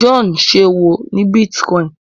John ìṣòwò ní bitcoin